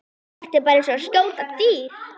Þetta var bara eins og að skjóta dádýr.